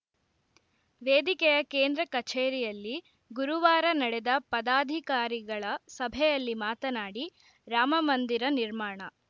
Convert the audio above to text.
ವೇದಿಕೆಯ ಕೇಂದ್ರ ಕಚೇರಿಯಲ್ಲಿ ಗುರುವಾರ ನಡೆದ ಪದಾಧಿಕಾರಿಗಳ ಸಭೆಯಲ್ಲಿ ಮಾತನಾಡಿ ರಾಮಮಂದಿರ ನಿರ್ಮಾಣ